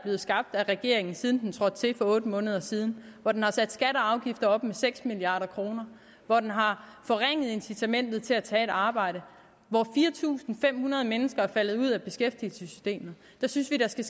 af regeringen siden den trådte til for otte måneder siden hvor den har sat skatter og afgifter op med seks milliard kr hvor den har forringet incitamentet til at tage et arbejde hvor fire tusind fem hundrede mennesker er faldet ud af beskæftigelsessystemet skal